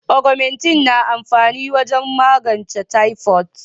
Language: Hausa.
"Augumentin" na amfani wajen magance typhoid.